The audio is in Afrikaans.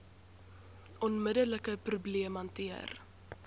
onmiddelike probleem hanteer